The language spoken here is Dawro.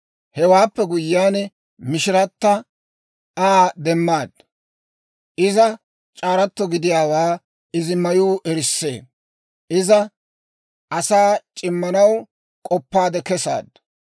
Hewaappe guyyiyaan, mishirata Aa demmaaddu. Iza c'aaratoo gidiyaawaa izi mayuu erissee. Iza asaa c'immanaw k'oppaade kesaaddu.